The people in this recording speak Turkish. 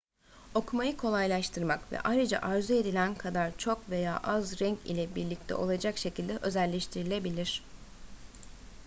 okumayı kolaylaştırmak ve ayrıca arzu edilen kadar çok veya az renk ile birlikte olacak şekilde özelleştirilebilir